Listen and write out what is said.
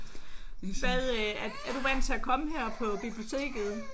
Hvad øh er du vant til at komme her på biblioteket?